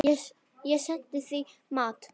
Ég sendi því mat.